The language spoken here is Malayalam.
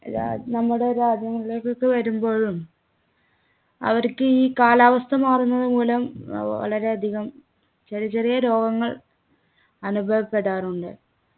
രാ നമ്മുടെ രാജ്യങ്ങളിലേക്കൊക്കെ വരുമ്പോഴും അവർക്ക് ഈ കാലാവസ്ഥ മാറുന്നത് മൂലം ഏർ വളരെയധികം ചെറിയ ചെറിയ രോഗങ്ങൾ അനുഭവപ്പെടാറുണ്ട്